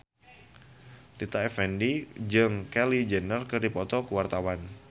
Rita Effendy jeung Kylie Jenner keur dipoto ku wartawan